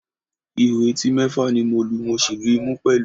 Ihò etí mẹ́fà ni mo lu, mo sì lu ìmú pẹ̀lú